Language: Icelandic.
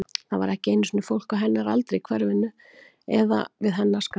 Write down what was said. Það var ekki einu sinni fólk á hennar aldri í hverfinu, eða við hennar skap.